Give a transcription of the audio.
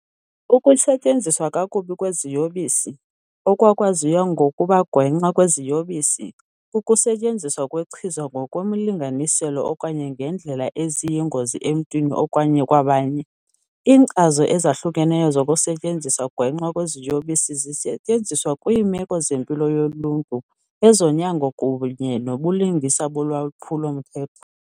Ukusetyenziswa kakubi kweziyobisi, okwakwaziwa ngokuba gwenxa kweziyobisi, kukusetyenziswa kwechiza ngokwemilinganiselo okanye ngeendlela eziyingozi emntwini okanye kwabanye. Iinkcazo ezahlukeneyo zokusetyenziswa gwenxa kweziyobisi zisetyenziswa kwiimeko zempilo yoluntu, ezonyango, kunye nobulungisa bolwaphulo-mthetho.